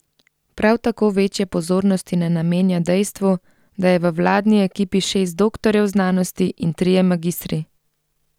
Prav tako večje pozornosti ne namenja dejstvu, da je v vladni ekipi šest doktorjev znanosti in trije magistri.